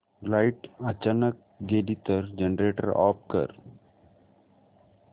light अचानक गेली तर जनरेटर ऑफ कर